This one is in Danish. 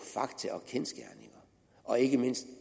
kendsgerninger og ikke mindst